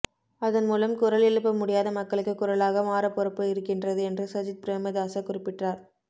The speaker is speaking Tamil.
அதன் மூலம் குரல் எழுப்ப முடியாத மக்களுக்கு குரலாக மாற பொறுப்பு இருக்கின்றது என்று சஜித் பிரேமதாச குறிப்பிட்டார்